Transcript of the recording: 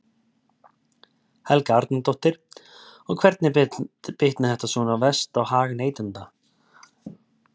Helga Arnardóttir: Og hvernig bitnar þetta svona verst á hag neytenda?